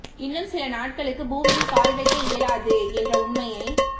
இன்னும் சில நாட்களுக்கு பூமியில் கால் வைக்க இயலாது என்ற உண்மையை